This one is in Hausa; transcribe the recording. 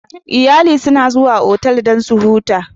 Iyalu suna zuwa otal dan su huta